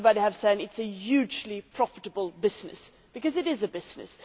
As everybody has said, it is a hugely profitable business because it is a business.